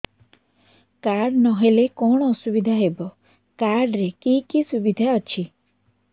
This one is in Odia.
କାର୍ଡ ନହେଲେ କଣ ଅସୁବିଧା ହେବ କାର୍ଡ ରେ କି କି ସୁବିଧା ଅଛି